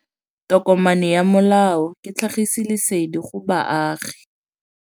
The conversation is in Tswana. Tokomane ya molao ke tlhagisi lesedi go baagi.